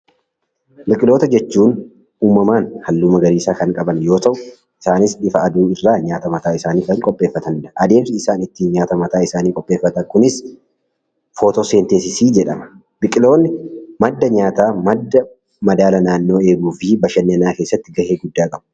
Biqiltoota jechuun uumamumaan halluu magariisa kan qaban yemmuu ta'u, isaanis ifa aduu irraa nyaata mataa isaanii kan qopheeffatanidha. Adeemsi isaan nyaata mataa isaanii ittiin qopheeffatan kunis footooseenteensisii jedhama. Biqiltoonni madda nyaataa, madda madaala naannoo eeguu fi bashannanaa keessatti gahee guddaa qaba.